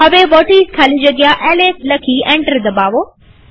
હવે વ્હોટિસ ખાલી જગ્યા એલએસ લખી એન્ટર દબાવો